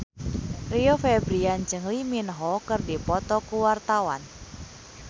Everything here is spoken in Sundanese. Rio Febrian jeung Lee Min Ho keur dipoto ku wartawan